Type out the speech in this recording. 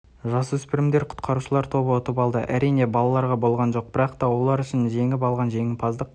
жасөспірімдер құтқарушылар тобы ұтып алды әрине балаларға болған жоқ бірақта олар үшін жеңіп алынған жеңімпаздық